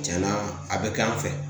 Tiɲɛna a bɛ k'an fɛ